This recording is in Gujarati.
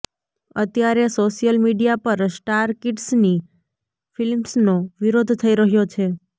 અત્યારે સોશિયલ મીડિયા પર સ્ટાર કિડ્ઝની ફિલ્મ્સનો વિરોધ થઈ રહ્યો છે